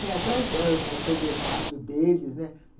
Tem até autografado deles, né?